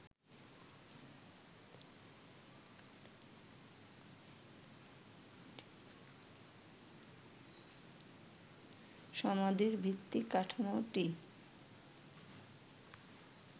সমাধির ভিত্তি কাঠামোটি